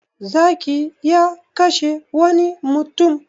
Zaki ya kashe wani mutum.